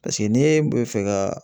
Paseke n'e bɛ fɛ ka